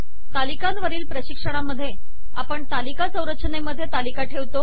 तालिकांवरील प्रशिक्षणामधे आपण तालिका संरचनेमधे आपण तालिका ठेवतो